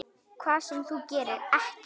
Hvað sem þú gerir, ekki.